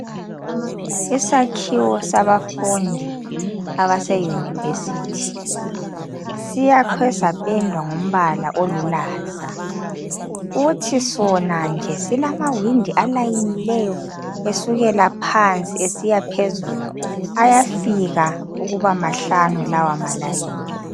Isakhiwo sabafundi abase yunivesithi siyakhwe sapendwa ngombala olulaza futhi sona nje silamawindi alayinileyo esukela phansi esiya phezulu. Ayafika ukuba mahlanu lawa malayini.